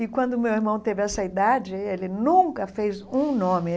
E, quando meu irmão teve essa idade, ele nunca fez um nome.